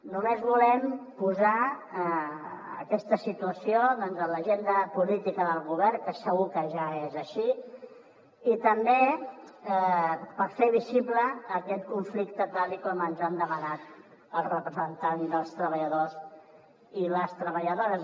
només volem posar aquesta situació a l’agenda política del govern que segur que ja és així i també fer visible aquest conflicte tal com ens han demanat els representants dels treballadors i les treballadores